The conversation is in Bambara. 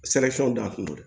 don a kun don